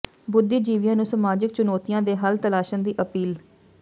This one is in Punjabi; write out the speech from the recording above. ਬੁੱਧੀਜੀਵੀਆਂ ਨੂੰ ਸਮਾਜਿਕ ਚੁਣੌਤੀਆਂ ਦੇ ਹੱਲ ਤਲਾਸ਼ਣ ਦੀ ਅਪੀਲ